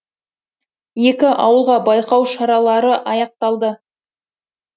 екі ауылға байқау шаралары аяқталды